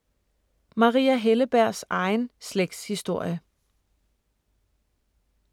Maria Hellebergs egen slægtshistorie